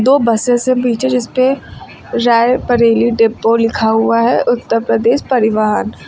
वो बसेस हैं पीछे जिस पे राय बरेली डिपो लिखा हुआ है उत्तर प्रदेश परिवहन।